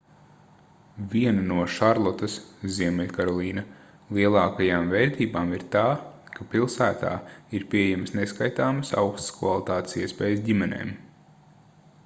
viena no šarlotas ziemeļkarolīna lielākajām vērtībām ir tā ka pilsētā ir pieejamas neskaitāmas augstas kvalitātes iespējas ģimenēm